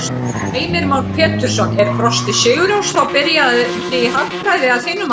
Heimir Már Pétursson: Er Frosti Sigurjónsson þá byrjandi í hagfræði að þínu mati?